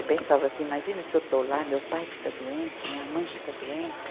Eu pensava assim, imagina se eu estou lá, meu pai fica doente, minha mãe fica doente.